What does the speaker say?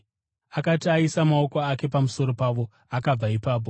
Akati aisa maoko ake pamusoro pavo, akabva ipapo.